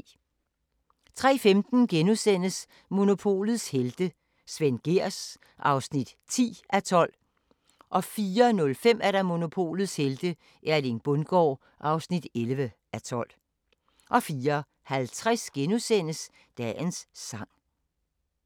03:15: Monopolets helte - Svend Gehrs (10:12)* 04:05: Monopolets helte - Erling Bundgaard (11:12) 04:50: Dagens sang *